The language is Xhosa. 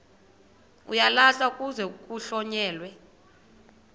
uyalahlwa kuze kuhlonyelwe